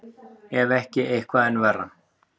Ef ekki eitthvað enn verra.